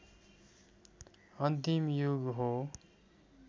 अन्तिम युग हो